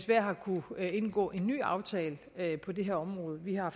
vi har kunnet indgå en ny aftale på det her område vi har